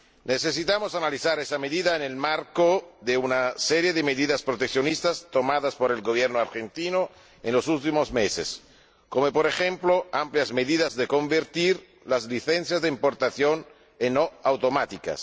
Necesitamos analizar esa medida en el marco de una serie de medidas proteccionistas tomadas por el Gobierno argentino en los últimos meses, como, por ejemplo, amplias medidas para convertir las licencias de importación en no automáticas.